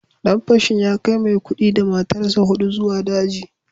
Dan fashin ya kai Maikudi da matarsa ​​hudu zuwa daji